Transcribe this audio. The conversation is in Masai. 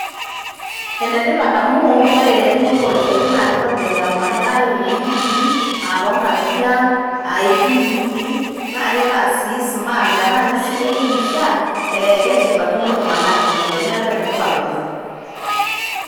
Ene tipat amu ore eunore irkiek naa keitobirr olmanyara likitii aa too Ng'ang'itie aang' aa entim nikitii naa keitaa sii Sumat metaa kesidai kikishian, ee keshipakino iltung'anak tenedol neeku ene tipat oleng'.